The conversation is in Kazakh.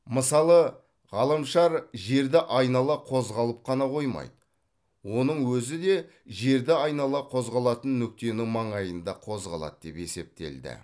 мысалы ғаламшар жерді айнала қозғалып қана қоймайды оның өзі де жерді айнала қозғалатын нүктенің маңайында қозғалады деп есептелді